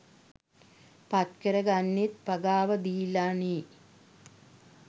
පත්කර ගන්නෙත් පගාව දීලනෙ.